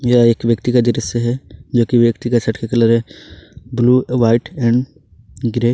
यह एक व्यक्ति का दृश्य है जो कि व्यक्ति के शर्ट का कलर है ब्लू व्हाइट एंड ग्रे --